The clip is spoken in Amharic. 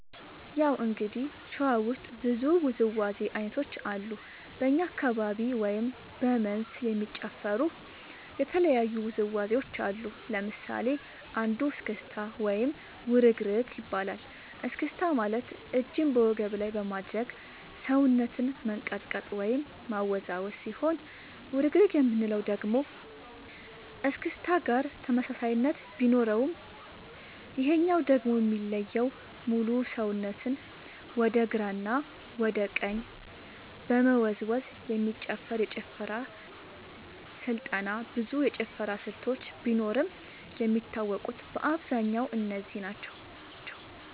ያው እንግዲህ ሸዋ ውስጥ ብዙ ውዝዋዜ ዐይነቶች አሉ በኛ አካባቢ ወይም በ መንዝ የሚጨፈሩ የተለያዩ ውዝዋዜዎች አሉ ለምሳሌ አንዱ እስክታ ወይም ውርግርግ ይባላል እስክስታ ማለት እጅን በወገብ ላይ በማድረግ ሰውነትን መንቀጥቀጥ ወይም ማወዛወዝ ሲሆን ውርግርግ የምንለው ደግሞ እስክስታ ጋር ተመሳሳይነት ቢኖረውም ይሄኛው ደግሞ የሚለየው ሙሉ ሰውነትን ወደ ግራ እና ወደ ቀኝ በመወዛወዝ የሚጨፈር የጭፈራ ስልጠና ብዙ የጭፈራ ስልቶች ቢኖርም የሚታወቁት በአብዛኛው እነዚህ ናቸው።